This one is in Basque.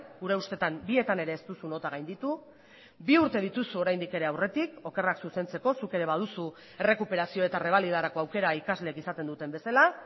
gure ustetan bietan ere ez duzu nota gainditu bi urte dituzu oraindik ere aurretik okerrak zuzentzeko zuk ere baduzu errekuperazio eta errebalidarako aukera ikasleek izaten duten bezala